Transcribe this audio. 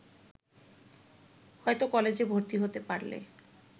হয়তো কলেজে ভর্তি হতে পারলে